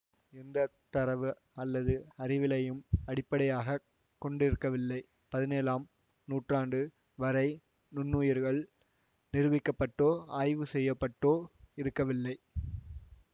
எந்த தரவு அல்லது அறிவியலையும் அடிப்படையாக கொண்டிருக்கவில்லை பதினேழாம் நூற்றாண்டு வரை நுண்ணுயிரிகள் நிரூபிக்கப்பட்டோ ஆய்வு செய்யப்பட்டோ இருக்கவில்லை